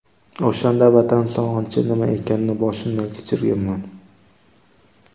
O‘shanda Vatan sog‘inchi nima ekanini boshimdan kechirganman.